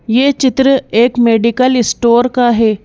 यह चित्र एक मेडिकल स्टोर का है।